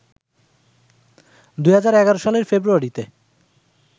২০১১ সালের ফেব্রুয়ারিতে